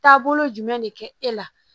Taabolo jumɛn de kɛ e la